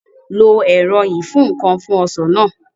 Lo ẹ̀rọ ìfúǹkan fún Ọsàn náà